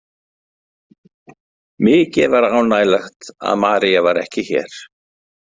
Mikið var ánægjulegt að María var ekki hér.